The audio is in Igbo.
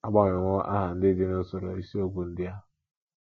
A gbanwewo aha ndị dị n’usoro isiokwu ndị a.